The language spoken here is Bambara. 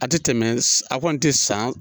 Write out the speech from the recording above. A tɛ tɛmɛ a kɔni tɛ san